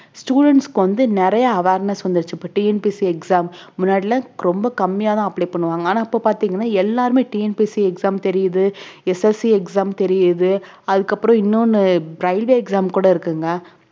students க்கு வந்து நிறைய awareness வந்துடுச்சு இப்ப TNPSC exams முன்னாடிலாம் ரொம்ப கம்மியா தான் apply பண்ணுவாங்க ஆனா இப்ப பாத்தீங்கன்னா எல்லாருமே TNPSC exam தெரியுது SSC exam தெரியுது அதுக்கப்புறம் இன்னொண்ணு railway exam கூட இருக்குங்க